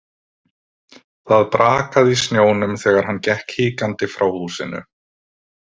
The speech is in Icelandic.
Það brakaði í snjónum þegar hann gekk hikandi frá húsinu.